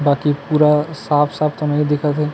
बाकी पूरा साफ साफ त नई दिखा थे।